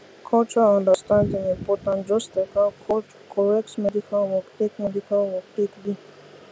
cultural understanding important just like how correct medical work take medical work take be